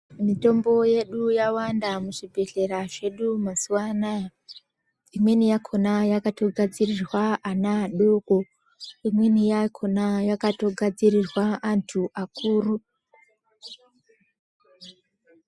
Mitombo yedu yawanda muzvibhedhlera zvedu mazuwa anaa imweni yakhona yakatogadzirirwa ana adoko, imweni yakhona yakatogadzirirwa anthu akuru.